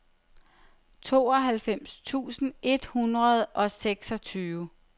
tooghalvfems tusind et hundrede og seksogtyve